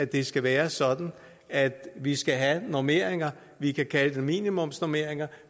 det skal være sådan at vi skal have normeringer vi kan kalde det minimumsnormeringer